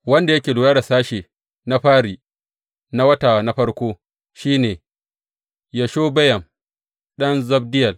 Wanda yake lura da sashe na fari, na wata na farko, shi ne Yashobeyam ɗan Zabdiyel.